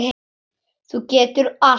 Þú getur allt.